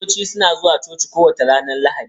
Kiristoci suna zuwa coci kowace ranar Lahadi.